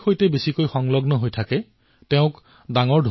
বিগত কিছুসময়ত এই ক্ষেত্ৰটোৱে নিজকে অনেক বাধাৰ পৰা মুক্ত কৰিছে